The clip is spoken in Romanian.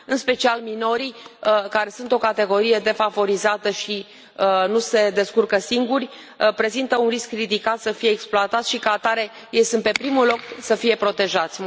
În special minorii, care sunt o categorie defavorizată și nu se descurcă singuri, prezintă un risc ridicat să fie exploatați și, ca atare, ei sunt pe primul loc să fie protejați.